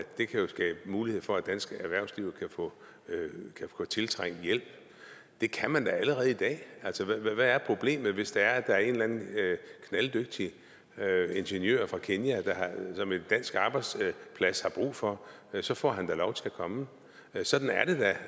det kan skabe mulighed for at det danske erhvervsliv kan få tiltrængt hjælp at det kan man da allerede i dag hvad er problemet hvis der er en eller anden knalddygtig ingeniør fra kenya som en dansk arbejdsplads har brug for så får han da lov til at komme sådan er det da